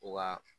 U ka